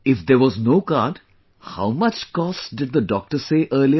If there was no card, how much cost did the doctor say earlier